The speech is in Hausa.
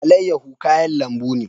Alayyahu kayan lambu ne.